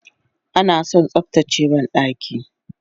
Anason tsaftace bandaki